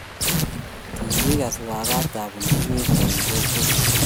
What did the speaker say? Kingigas waketab bundukit eng bikap kokwet